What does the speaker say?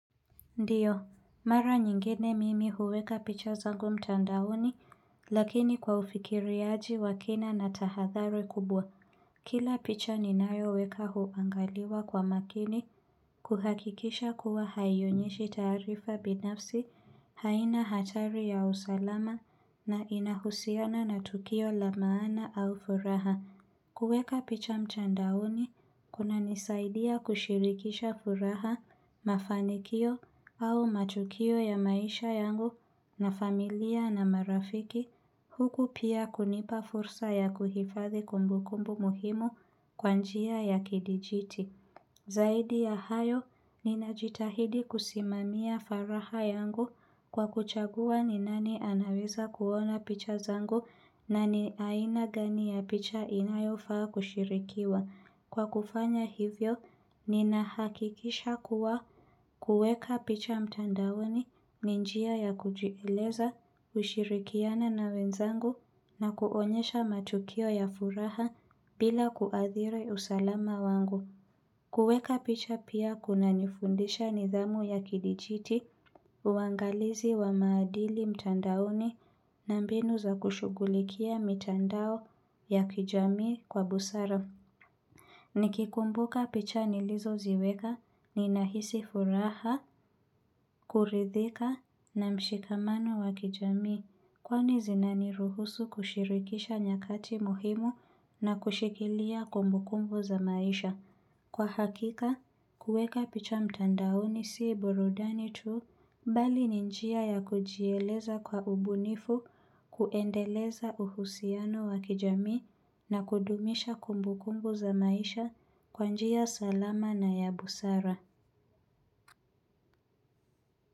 Ndiyo, mara nyingine mimi huweka picha zangu mtandaoni lakini kwa ufikiriaji wa kina na tahathari kubwa. Kila picha ninayo weka huangaliwa kwa makini kuhakikisha kuwa haionyeshi taarifa binafsi haina hatari ya usalama na inahusiana na tukio la maana au furaha. Kuweka picha mtandaoni, kuna nisaidia kushirikisha furaha, mafanikio au matukio ya maisha yangu na familia na marafiki, huku pia kunipa fursa ya kuhifadhi kumbu kumbu muhimu kwa njia ya kidijiti. Zaidi ya hayo, ninajitahidi kusimamia faraha yangu kwa kuchagua ni nani anaweza kuona picha zangu na ni aina gani ya picha inayo faa kushirikiwa. Kwa kufanya hivyo, ninahakikisha kuwa kuweka picha mtandaoni ni njia ya kujieleza ushirikiana na wenzangu na kuonyesha matukio ya furaha bila kuadhiri usalama wangu. Kuweka picha pia kuna nifundisha nidhamu ya kidijiti uangalizi wa maadili mtandaoni na mbinu za kushugulikia mitandao ya kijamii kwa busara. Nikikumbuka picha nilizo ziweka ni nahisi furaha, kuridhika na mshikamano wa kijamii kwani zina niruhusu kushirikisha nyakati muhimu na kushikilia kumbu kumbu za maisha. Kwa hakika, kuweka picha mtandaoni sii burudani tu mbali ni njia ya kujieleza kwa ubunifu, kuendeleza uhusiano wakijamii na kudumisha kumbu kumbu za maisha kwa njia salama na ya busara.